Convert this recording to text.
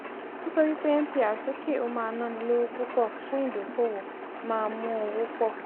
ó sọ wípé mpr sókè ó máa náni lówó púpọ̀ fún ìdókòwò máa mú owó pọ̀.